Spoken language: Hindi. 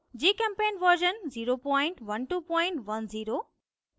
gchempaint version 01210